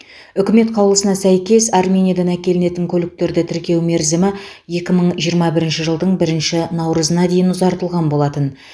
үкімет қаулысына сәйкес армениядан әкелінетін көліктерді тіркеу мерзімі екі мың жиырма бірінші жылдың бірінші наурызына дейін ұзартылған болатын